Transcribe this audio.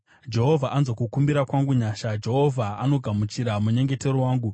Jehovha anzwa kukumbira kwangu nyasha; Jehovha anogamuchira munyengetero wangu.